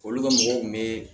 Olu ka mɔgɔw kun be